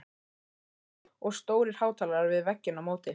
Græjur og stórir hátalarar við vegginn á móti.